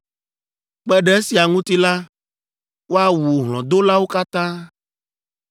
“ ‘Kpe ɖe esia ŋuti la, woawu hlɔ̃dolawo katã.